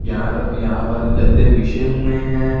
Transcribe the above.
यार यहां पर गद्दे बिछे हुए हैं।